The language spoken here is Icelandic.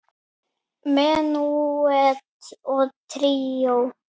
Menúett og tríó